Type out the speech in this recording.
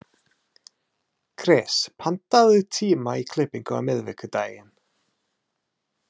Kris, pantaðu tíma í klippingu á miðvikudaginn.